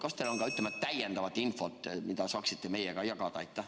Kas teil on ka täiendavat infot, mida saaksite meiega jagada?